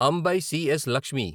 Ambai C S. Lakshmi